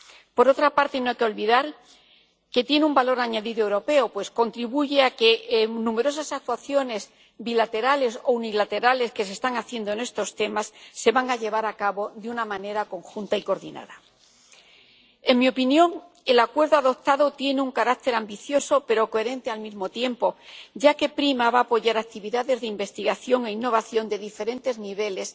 Por otra parte, no hay que olvidar que tiene un valor añadido europeo, pues contribuye a que numerosas actuaciones bilaterales o unilaterales que se están haciendo en este ámbito se lleven a cabo de una manera conjunta y coordinada. En mi opinión, el acuerdo adoptado tiene un carácter ambicioso y coherente al mismo tiempo, ya que PRIMA va a apoyar actividades de investigación e innovación de diferentes niveles